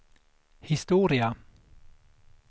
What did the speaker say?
historia